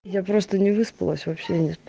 я просто не выспалась вообще